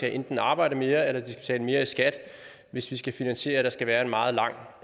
enten arbejde mere eller betale mere i skat hvis vi skal finansiere at der skal være en meget lang